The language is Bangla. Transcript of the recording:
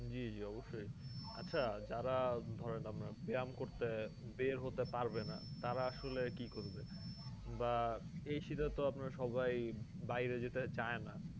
জ্বি জ্বি অবশ্যই আচ্ছা যারা ধরেন আমরা ব্যায়াম করতে বের হতে পারবেনা তারা আসলে কি করবে বা এই শীতে তো আপনারা সবাই বাইরে যেতে চায় না